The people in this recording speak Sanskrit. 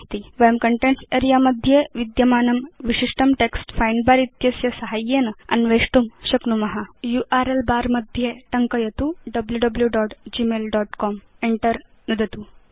वयं कन्टेन्ट्स् अरेऽ मध्ये विद्यमानं विशिष्टं टेक्स्ट् फाइण्ड बर इत्यस्य साहाय्येन अन्वेष्टुं शक्नुम यूआरएल बर मध्ये टङ्कयतु wwwgmailcom Enter नुदतु च